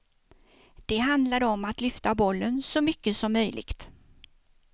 Det handlade om att lyfta bollen så mycket som möjligt.